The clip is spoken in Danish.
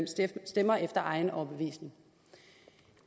stemmer efter sin egen overbevisning